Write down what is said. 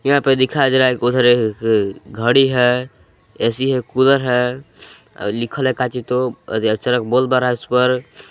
यहां पे दिखाया जा रहा है घड़ी है ए_सी है कूलर है और लिखल है काची तो और चरक बल्व बर रहा है उसपर --